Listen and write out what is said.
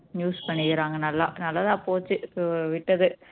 use பண்ணிக்கிறாங்க நல்லா நல்லதா போச்சு so விட்டது